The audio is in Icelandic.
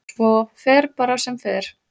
Svo fer bara sem fer.